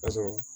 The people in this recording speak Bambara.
Ka sɔrɔ